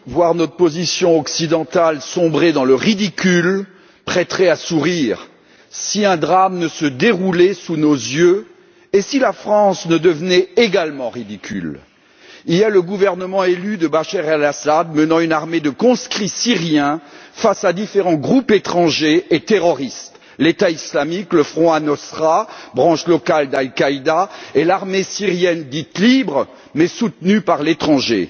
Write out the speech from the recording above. Monsieur le Président, en Syrie, voir notre position occidentale sombrer dans le ridicule prêterait à sourire si un drame ne se déroulait sous nos yeux et si la France ne devenait également ridicule. Il y a le gouvernement élu de Bachar el Assad, menant une armée de conscrits syriens face à différents groupes étrangers et terroristes l'État islamique, le Front al Nosra, branche locale d'Al Qaïda, et l'armée syrienne dite libre mais soutenue par l'étranger.